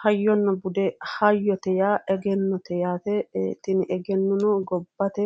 Hayyonna bude, hayyote yaa egennote yaate, tini egenno gobbate